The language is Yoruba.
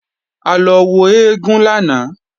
A lọ wo eégún lánàá